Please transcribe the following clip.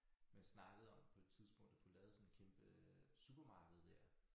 Man snakkede om på et tidspunkt at få lavet sådan et kæmpe øh supermarked dér